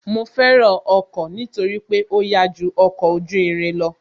Mo fẹ́ràn ọkọ̀ nítorí pé ó yá ju ọkọ̀ ojú irin lọ